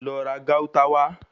Lọ ra Gauta wà